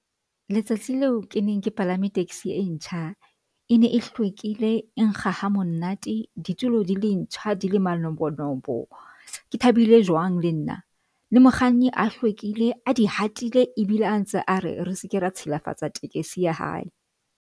Letsatsi leo ke neng ke palame taxi e ntjha e ne e hlwekile e nkga ha monate ditulo di le ntjha di le manobonobo, Ke thabile jwang le nna le mokganni a hlwekile a di hatile e bile a ntse a re re seke ra tshilafatso tekesi ya hae.